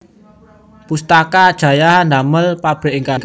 Pustaka Jaya ndamel pabrik enggal